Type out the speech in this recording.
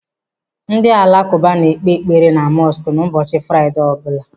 Ndị alakụba na-ekpe ekpere na mọsk n'ụbọchị Fraịdee ọbụla.